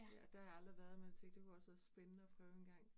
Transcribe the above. Ja, der har jeg aldrig været, men tænkte det kunne også være spændende at prøve engang